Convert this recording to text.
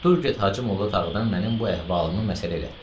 Dur get Hacımolla Tağıdan mənim bu əhvalımı məsələ elətdir.